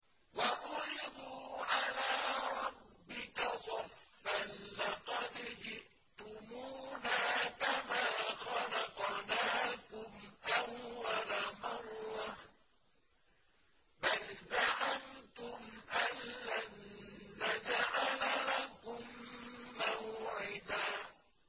وَعُرِضُوا عَلَىٰ رَبِّكَ صَفًّا لَّقَدْ جِئْتُمُونَا كَمَا خَلَقْنَاكُمْ أَوَّلَ مَرَّةٍ ۚ بَلْ زَعَمْتُمْ أَلَّن نَّجْعَلَ لَكُم مَّوْعِدًا